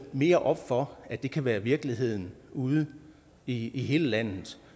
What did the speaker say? mere op for at det kan være virkeligheden ude i hele landet